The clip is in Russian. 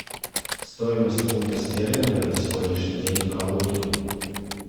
стоимость фунта стерлинга на сегодняшний день в калуге